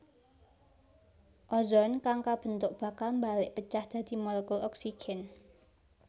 Ozon kang kabentuk bakal mbalék pecah dadi molekul oksigen